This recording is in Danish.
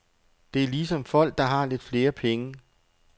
Det er ligesom folk, der har lidt flere penge.